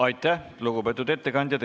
Aitäh, lugupeetud ettekandja!